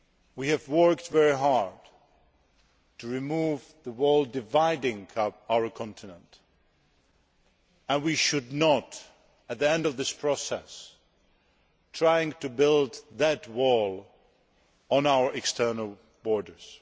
We worked very hard to remove the wall dividing our continent and we should not, at the end of the process, try to rebuild that wall around our external borders.